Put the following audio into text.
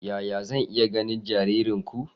Yaya zan iya ganin jaririnku?